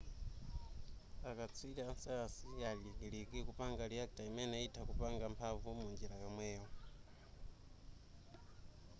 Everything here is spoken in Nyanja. a katswiri a sayansi ali kalikiliki kupanga reactor imene itha kupanga mphanvu munjira yomweyo